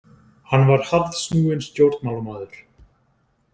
Hann var harðsnúinn stjórnmálamaður.